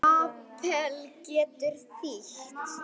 Hann kvaðst hafa heyrt að